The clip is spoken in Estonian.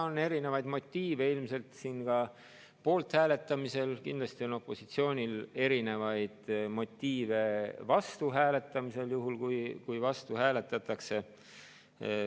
On erinevaid motiive ilmselt siin ka poolthääletamisel, kindlasti on opositsioonil erinevaid motiive vastuhääletamisel, juhul kui vastu hääletatakse.